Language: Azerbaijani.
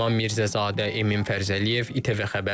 Mehman Mirzəzadə, Emin Fərzəliyev, İTV Xəbər.